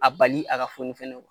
A bali a ka foni fɛnɛ